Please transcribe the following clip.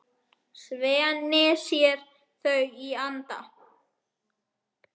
Svenni sér þau í anda.